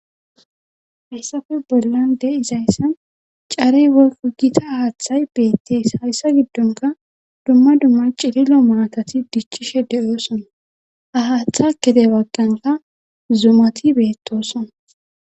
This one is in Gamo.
Hayssafe bollan de7izayssan carey woykko gita aaththay beettes hayssa giddonka dumma dumma cililo maathati dichchishe de7oosona ha haaththa gede bagganka zumati beettoosona.